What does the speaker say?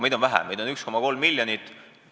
Meid on vähe, meid on 1,3 miljonit.